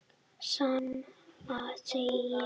Sama segi ég.